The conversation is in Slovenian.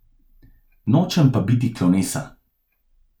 Nočem pa biti klovnesa.